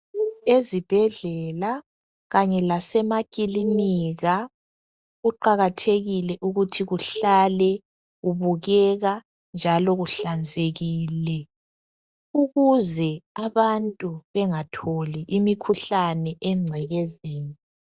Ezibhedlela kanye lasemakilinika kuqakathekile ukuthi kuhlale kubukeka njalo kuhlanzekile ukuze abantu bengatholi imikhuhlane engcekezeni.